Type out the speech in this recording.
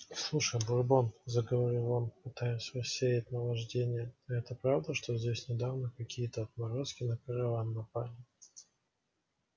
слушай бурбон заговорил он пытаясь рассеять наваждение а это правда что здесь недавно какие-то отморозки на караван напали